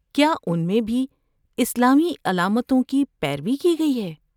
کیا اُن میں بھی اسلامی علامتوں کی پیروی کی گئی ہے؟